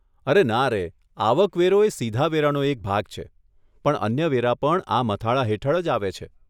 અરે નારે, આવક વેરો એ સીધા વેરાનો એક ભાગ છે, પણ અન્ય વેરા પણ આ મથાળા હેઠળ જ આવે છે.